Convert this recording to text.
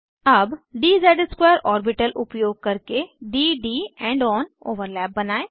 अब dz2 orbital उपयोग करके d D end on overlap बनायें